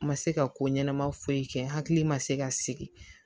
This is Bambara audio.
Ma se ka ko ɲɛnama foyi kɛ n hakili ma se ka sigi